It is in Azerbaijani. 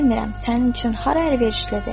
Bilmirəm sənin üçün hara əlverişlidir.